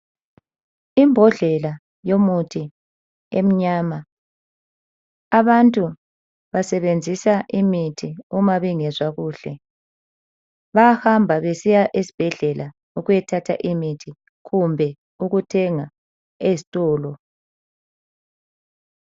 Imbodlela yomuthi emnyama. Abantu basebenzisa imithi uma bengezwa kuhle. Bayahamba besiya esibhedlela ukuyo thatha imithi kumbe ukuthenga ezitolo.